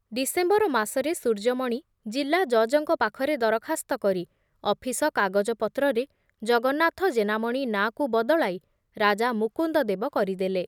December ମାସରେ ସୂର୍ଯ୍ୟମଣି ଜିଲ୍ଲା ଜଜଙ୍କ ପାଖରେ ଦରଖାସ୍ତ କରି ଅଫିସ କାଗଜ ପତ୍ରରେ ଜଗନ୍ନାଥ ଜେନାମଣି ନାଁକୁ ବଦଳାଇ ରାଜା ମୁକୁନ୍ଦଦେବ କରିଦେଲେ ।